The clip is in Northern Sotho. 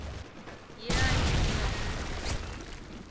ye a e golago ka